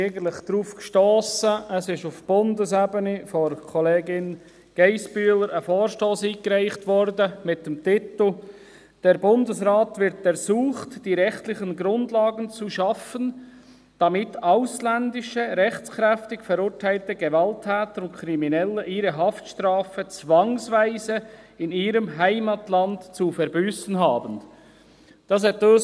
Wir sind eigentlich darauf gestossen, weil auf Bundesebene von Kollegin Geissbühler ein Vorstoss mit dem Titel «Der Bundesrat wird ersucht, die rechtlichen Grundlagen zu schaffen, damit ausländische, rechtskräftig verurteilte Gewalttäter und Kriminelle ihre Haftstrafe zwangsweise in ihrem Heimatland zu verbüssen haben» eingereicht wurde.